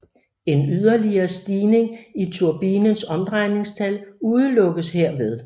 En yderligere stigning i turbinens omdrejningstal udelukkes herved